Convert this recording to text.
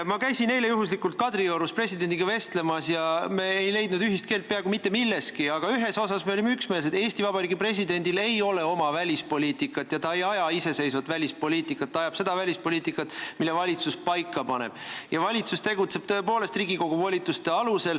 Ma käisin eile juhuslikult Kadriorus presidendiga vestlemas ja me ei leidnud ühist keelt peaaegu mitte milleski, aga ühes asjas me olime üksmeelsed: Eesti Vabariigi presidendil ei ole oma välispoliitikat ja ta ei aja iseseisvat välispoliitikat, ta ajab seda välispoliitikat, mille valitsus paika paneb, ja valitsus tegutseb tõepoolest Riigikogu volituste alusel.